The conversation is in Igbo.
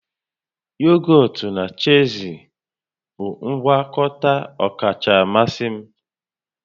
Yogọt na chiizi bụ ngwakọta ọkacha mmasị m